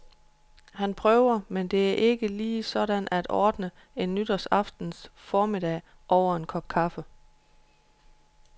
Han prøver, men det er ikke lige sådan at ordne en nytårsaftens formiddag over en kop kaffe.